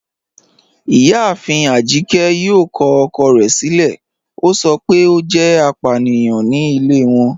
Ìyáàfín Ajíkẹ̀ yóò kọ ọ̀kọ̀ rẹ̀ silẹ̀, o sọ pé o jẹ́ àpàníyàn ní ilẹ̀ wọn